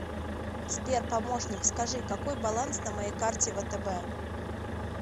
сбер помощник скажи какой баланс на моей карте втб